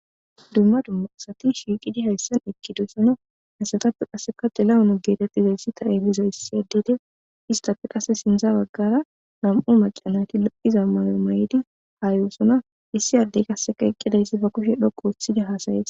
Duma duma asati shiqidi haysa eqidosona haysatappe xilahune getetizaysika istape sinta bagara namu' maca nayti loi'za mayo mayidi ha yosona issi ade qase eqidi ba kushe dhoqu othidi